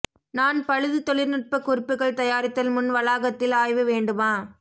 நான் பழுது தொழில்நுட்ப குறிப்புகள் தயாரித்தல் முன் வளாகத்தில் ஆய்வு வேண்டுமா